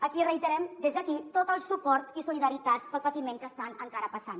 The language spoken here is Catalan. aquí reiterem des d’aquí tot el suport i solidaritat pel patiment que estan encara passant